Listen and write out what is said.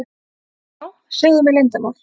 Já, segðu mér leyndarmál.